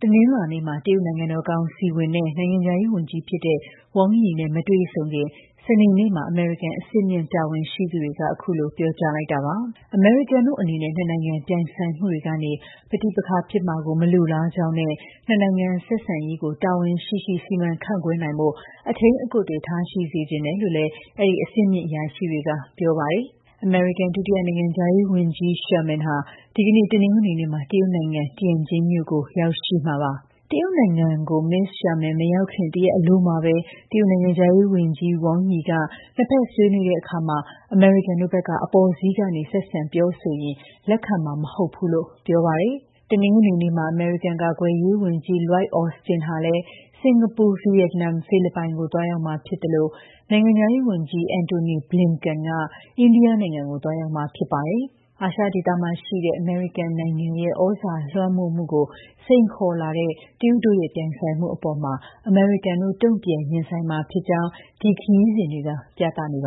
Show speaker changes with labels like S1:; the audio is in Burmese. S1: က တနင်္လာနေ့မှာ တရုတ် နိုင်ငံတော်ကောင်စီဝင် နဲ့ နိုင်ငံခြားရေးဝန်ကြီးဖြစ်တဲ့ Wang Yi နဲ့ မတွေ့ဆုံခင် စနေနေ့မှာ အမေရိကန် အဆင့်မြင့် တာဝန်ရှိသူတွေက အခုလို ပြောကြားလိုက်တာပါ။ အမေရိကန်တို့အနေနဲ့ နှစ်နိုင်ငံ ပြိုင်ဆိုင်မှုတွေကနေ ပဋိပက္ခဖြစ်မှာကို မလိုလားကြောင်းနဲ့ နှစ်နိုင်ငံဆက်ဆံရေးကို တာဝန်ရှိရှိ စီမံခန့်ခွဲနိုင်ဖို့ အထိန်းအကွပ်တွေ ထားရှိစေချင်တယ်လို့လည်း အဲဒီ အဆင့်မြင့်အရာရှိတွေက ပြောပါတယ်။ အမေရိကန် ဒုတိယ နိုင်ငံခြားရေးဝန်ကြီး Sherman ဟာ ဒီကနေ့ တနင်္ဂနွေနေ့မှာ တရုတ်နိုင်ငံ၊ Tianjin မြို့ကို ရောက်ရှိမှာပါ။ တရုတ်နိုင်ငံကို မစ္စ Sherman မရောက်ခင်က တရက်အလိုမှာပဲ တရုတ်နိုင်ငံခြားရေး ဝန်ကြီး Wang Yi က နှစ်ဖက်ဆွေးနွေးတဲ့အခါ အမေရိကန်တို့ဘက်က အပေါ်စီးက ဆက်ဆံပြောဆိုရင် လက်ခံမှာမဟုတ်ဘူးလို့ ပြောပါတယ်။ တနင်္ဂနွေနေ့မှာပဲ အမေရိကန် ကာကွယ်ရေးဝန်ကြီး Lloyd Austin ကလည်း စင်္ကာပူ၊ ဗီယက်နမ်၊ ဖိလစ်ပိုင်ကို သွားရောက်မှာဖြစ်သလို နိုင်ငံခြားရေးဝန်ကြီး Antony Blinken ကလည်း အိန္ဒိယနိုင်ငံကို သွားရောက်မှာ ဖြစ်ပါတယ်။ အာရှဒေသမှာရှိတဲ့ အမေရိကန်နိုင်ငံရဲ့ ဩဇာလွှမ်းမိုးမှုကို စိန်ခေါ်လာတဲ့ တရုတ်တို့ရဲ့ ပြိုင်ဆိုင်မှုအပေါ် အမေရိကန်တို့ တ့ုံပြန်ရင်ဆိုင်မှာဖြစ်ကြောင်း ဒီခရီးစဉ်တွေက ပြသနေပါ